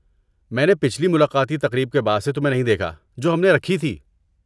میں نے پچھلی ملاقاتی تقریب کے بعد سے تمہیں نہیں دیکھا جو ہم نے رکھی تھی۔